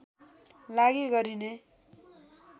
लागि गरिने